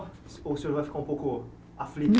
Ou o senhor vai ficar um pouco aflito?